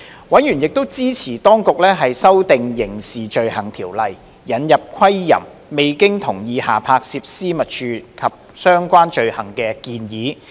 委員亦支持當局修訂《刑事罪行條例》，引入窺淫、未經同意下拍攝私密處及相關罪行的建議。